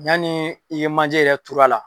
Yanni i ye manje yɛrɛ turu a la.